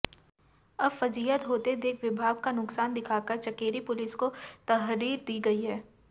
अब फजीहत होते देख विभाग का नुकसान दिखाकर चकेरी पुलिस को तहरीर दी गयी है